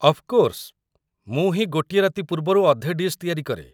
Of course, ମୁଁ ହିଁ ଗୋଟିଏ ରାତି ପୂର୍ବରୁ ଅଧେ ଡିଶ୍ ତିଆରି କରେ ।